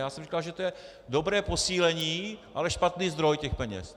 Já jsem říkal, že to je dobré posílení, ale špatný zdroj těch peněz.